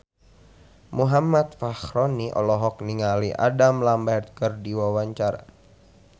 Muhammad Fachroni olohok ningali Adam Lambert keur diwawancara